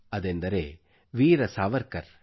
ಅದೆಂದರೆ ವೀರ ಸಾವರ್ಕರ್